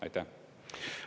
Aitäh!